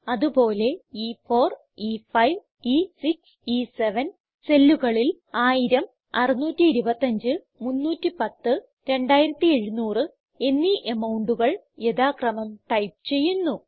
അത് പോലെ e4e5ഇ6 ഇ7 സെല്ലുകളിൽ 1000625310 2700 എന്നീ amountകൾ യഥാക്രമം ടൈപ്പ് ചെയ്യുന്നു